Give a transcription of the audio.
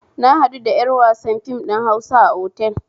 Na haɗu da ƴar wasan fim ɗin Hausa a otel